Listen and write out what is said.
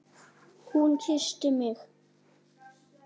Hún kyssti mig!